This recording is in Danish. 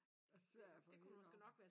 Svær for hende at